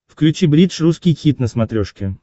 включи бридж русский хит на смотрешке